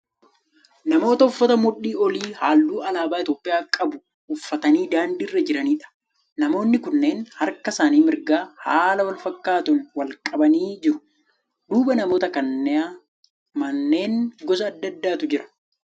namoota uffata mudhii olii halluu alaabaa Itiyoopiyaa qabu uffatanii daandii irra jiraniidha. Namoonni kunneen harka isaanii mirgaa haala wal fakkaatuun wal qabanii jiru. Duuba namoota kanaa manneen gosa adda addaatu jira.